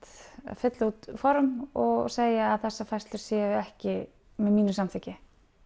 fylla út form og segja að þessar færslur séu ekki með mínu samþykki